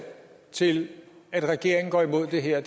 til at regeringen går imod det her